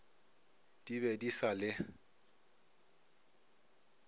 di be di sa le